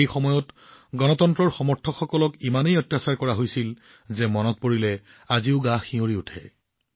সেই সময়ত গণতন্ত্ৰৰ সমৰ্থকসকলক ইমানেই অত্যাচাৰ কৰা হৈছিল যে আজিও মনটো কঁপি উঠে